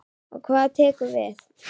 Og hvað tekur við?